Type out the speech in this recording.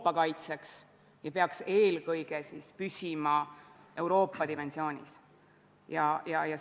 Meie lähtume sellest – ja seda rõhutas ka opositsiooni liige Eerik-Niiles Kross –, et kõigil fraktsioonidel on õigus esitada nendesse komisjonidesse oma liikmed, oma esindajad.